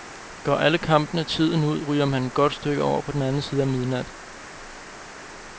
Går alle kampene tiden ud, ryger man et godt stykke over på den anden side af midnat.